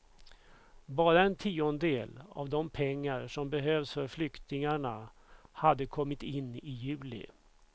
Bara en tiondedel av de pengar som behövs för flyktingarna hade kommit in i juli.